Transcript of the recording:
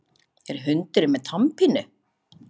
Er hundurinn með tannpínu?